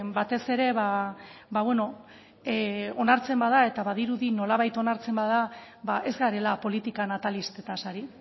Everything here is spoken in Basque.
batez ere ba beno onartzen bada eta badirudi nolabait onartzen bada ba ez garela politika natalistetaz ari